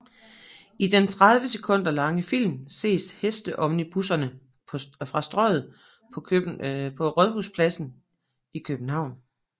I den 30 sekunder lange film ses hesteomnibusserne fra Strøget på Rådhuspladsen i København